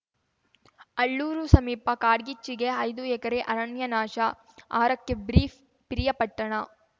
ಅಳ್ಳೂರು ಸಮೀಪ ಕಾಡ್ಗಿಚ್ಚಿಗೆ ಐದು ಎಕರೆ ಅರಣ್ಯ ನಾಶ ಆರಕ್ಕೆ ಬ್ರೀಫ್‌ ಪಿರಿಯಾಪಟ್ಟಣ